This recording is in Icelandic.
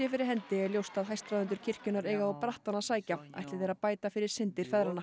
fyrir hendi er ljóst að hæstráðendur kirkjunnar eiga á brattann að sækja ætli þeir að bæta fyrir syndir feðranna